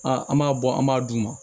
Aa an b'a bɔ an b'a d'u ma